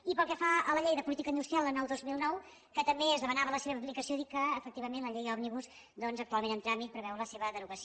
i pel que fa a la llei de política industrial en el dos mil nou que també es demanava la seva aplicació dir que efectivament la llei òmnibus doncs actualment en tràmit preveu la seva derogació